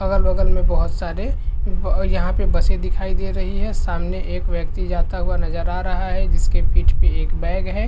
अगल - बगल में बोहोत सारे यहाँ पे बसे दिखाई दे रही है सामने एक व्यक्ति जाता हुआ नजर आ रहा है जिसके पीठ पे एक बैग है।